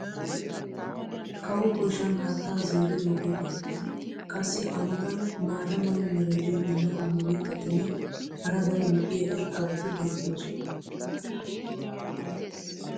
kawo koyshan haattaa zeeridoogee beetees. qassi a matan maata mala meray diyo dumma dumma mitatinne hara daro lo'iya irxxabati beetoosona.